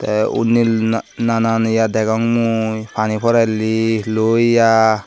teh unni nanan ye degong mui pani porerli lo ya.